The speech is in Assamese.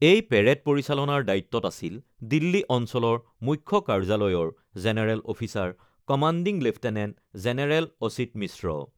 এই পেৰেড পৰিচালনাৰ দায়িত্বত আছিল দিল্লী অঞ্চলৰ মুখ্য কাৰ্যালয়ৰ general officer commanding lieutenant general Achit মিশ্ৰ।